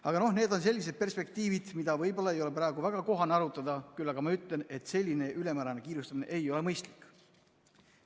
Aga need on sellised perspektiivid, mida võib-olla ei ole praegu väga kohane arutada, küll aga ma ütlen, et selline ülemäärane kiirustamine ei ole mõistlik.